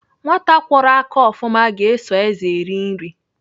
Nwata kwọrọ aka ofụma ga-eso ézè eri nri.